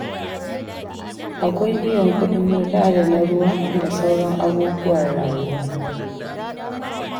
Akwai biyan kuɗin wuta da na ruwa da sauran abubuwan rayuwa.